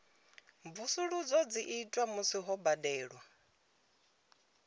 mvusuludzo dzi itwa musi ho badelwa